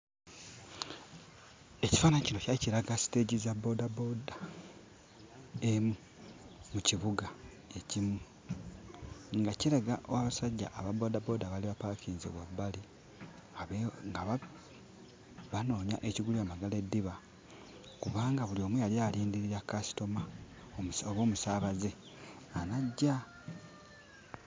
Ekifaananyi kino kyali kiraga siteegi za bboodabooda emu mu kibuga ekimu, nga kiraga abasajja ababboodabooda abaali bapaakinze wabbali nga ba banoonya ekigulira Magala eddiba kubanga buli omu yali alindirira kasitoma oba omusaabaze anajja.